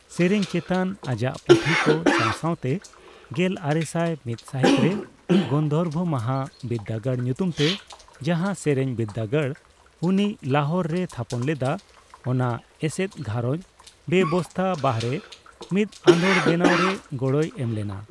ᱥᱮᱨᱮᱧ ᱪᱮᱛᱟᱱ ᱟᱡᱟᱜ ᱯᱩᱛᱷᱤ ᱠᱚ ᱥᱟᱣ ᱥᱟᱣᱛᱮ ᱜᱮᱞ ᱟᱨᱮᱥᱟᱭ ᱢᱤᱛ ᱥᱟᱦᱤᱛ ᱨᱮ ᱜᱟᱱᱫᱷᱚᱨᱵ ᱢᱚᱦᱟ ᱵᱤᱨᱫᱟᱹᱜᱟᱲ ᱧᱩᱛᱩᱢ ᱛᱮ ᱡᱟᱸᱦᱟ ᱥᱮᱨᱮᱧ ᱵᱤᱨᱫᱟᱹᱜᱟᱲ ᱩᱱᱤ ᱞᱟᱦᱳᱨ ᱨᱮᱭ ᱛᱷᱟᱯᱚᱱ ᱞᱮᱫᱟ, ᱚᱱᱟ ᱮᱥᱮᱫ ᱜᱷᱟᱸᱨᱚᱡ ᱵᱮᱵᱚᱥᱛᱟ ᱵᱟᱨᱦᱮ ᱢᱤᱫ ᱟᱸᱫᱳᱲ ᱵᱮᱱᱟᱣ ᱨᱮ ᱜᱚᱲᱚᱭ ᱮᱢ ᱞᱮᱱᱟ ᱾